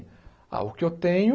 Ah, o que eu tenho